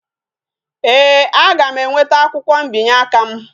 Ee, aga m enweta akwukwo mbinye aka m